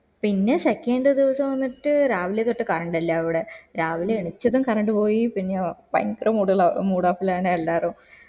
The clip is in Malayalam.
പിന്നെ second ദിവസം വന്നിട്ട് രാവിലെ തൊട്ട് കാണുന്നില്ല ഇവിടെ രാവിലെ എണീച്ചതും കറണ്ട് പോയി പിന്നെയോ ഭയങ്കര മൂഡള mood off ലാണ് എല്ലാരും